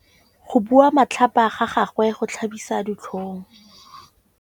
Go bua matlhapa ga gagwe go tlhabisa ditlhong.